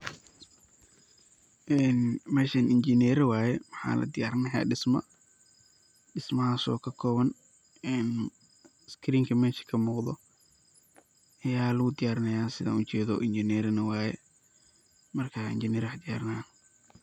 een meshan injineera waye ,waxaa la diyaarini haya dhisma, dhismahaas oo ka koban een skrinka mesha kamuqdo ya ligu diyarina sidan ujeedo ,injineera na waye markaa injiner aya wax diyarinaya